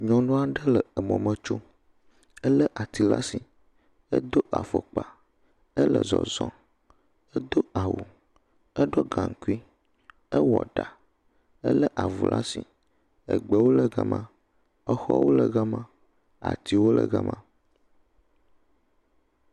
Nyɔnu aɖe le mɔ me tsom, elé ati le asi, edo afɔkpa, ele zɔzɔm, edo awu, eɖɔ gaŋkui, ewɔ ɖa, elé avu le asi. Gbewo le gema, xɔwo le gema, atiwo le gema.